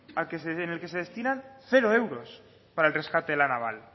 en el que se destinan cero euros para el rescate de la naval